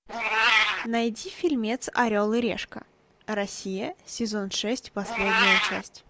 найди фильмец орел и решка россия сезон шесть последняя часть